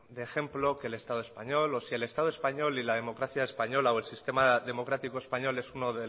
de ejemplo que el estado español o si el estado español y la democracia española o el sistema democrático español es uno